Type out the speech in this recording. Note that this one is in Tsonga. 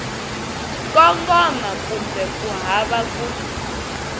kongoma kumbe ku hava ku